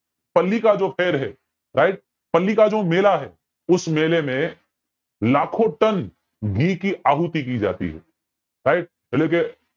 પલ્લી કે જો મેલા હૈ ઉસ મેળે મેં લખો તન ઘી કી આહુતિ ડી જતી હૈ right એટલે કે